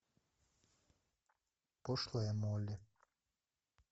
пошлая молли